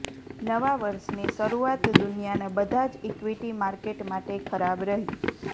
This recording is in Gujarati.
નવા વર્ષની શરૂઆત દુનિયાના બધાજ ઇક્વિટી માર્કેટ માટે ખરાબ રહી